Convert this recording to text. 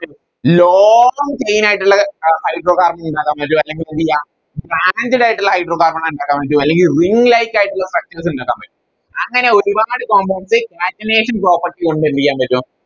long chain ആയിട്ടുള്ള ഏർ Hydro carbon ഉണ്ടാക്കാൻ പറ്റും അല്ലെങ്കി എന്തെയ്യ Candle ആയിട്ടുള്ള Hydro carbon ഇണ്ടാക്കാൻ വേണ്ടി അല്ലെങ്കി Ring light ആയിട്ടുള്ള Structures ഇണ്ടാക്കാൻ പറ്റും അങ്ങനെ ഒരുപാട് Compounds catenation property കൊണ്ട് എന്തെയ്യൻ പറ്റും